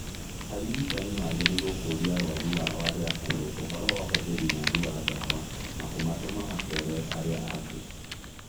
Arigitani magĩrĩirũo kũũria arũaru ao arĩa akũrũ ũhoro wa ũhũthĩri mũũru wa dawa na kũmatũmamakere arĩa angĩ